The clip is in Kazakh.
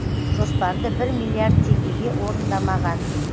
жоспарды бір миллиард теңгеге орындамаған